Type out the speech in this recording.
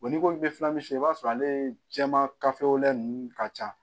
ni ko i b'a sɔrɔ ale jɛma kafewlɛ ninnu ka ca